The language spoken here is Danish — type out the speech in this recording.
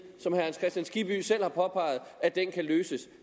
som herre hans kristian skibby selv har påpeget kan løses